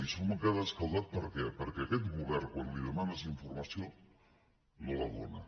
i som gat escaldat per què perquè aquest govern quan li demanes informació no la dóna